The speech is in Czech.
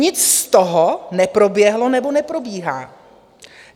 Nic z toho neproběhlo nebo neprobíhá.